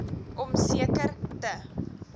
om seker te